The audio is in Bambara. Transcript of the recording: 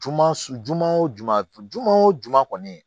Juma su juman o juma juma wo juma kɔni